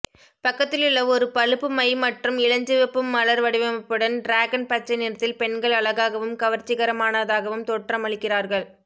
பக்கத்திலுள்ள ஒரு பழுப்பு மை மற்றும் இளஞ்சிவப்பு மலர் வடிவமைப்புடன் டிராகன் பச்சை நிறத்தில் பெண்கள் அழகாகவும் கவர்ச்சிகரமானதாகவும் தோற்றமளிக்கிறார்கள்